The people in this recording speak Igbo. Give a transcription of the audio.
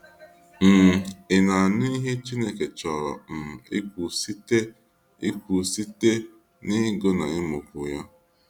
um Ị na anụ ihe Chineke chọrọ um ikwu site ikwu site n ịgụ na ịmụ kwu ya.